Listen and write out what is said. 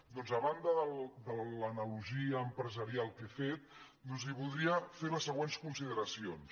doncs a banda de l’analogia empresarial que he fet li voldria fer les següents consideracions